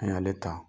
An y'ale ta